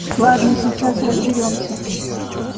ладно сейчас разберёмся